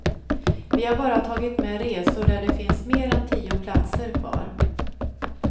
Vi har bara tagit med resor där det finns mer än tio platser kvar.